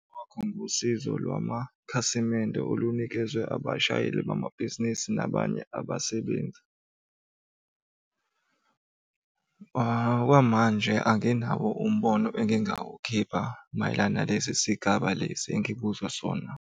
Wakhomba usizo lwamakhasimende olunikezwe abashayeli bamabhizinisi nabanye abasebenzi. Okwamanje anginawo umbono engingawukhipha mayelana nalesi sigaba lesi engibuzwa sona.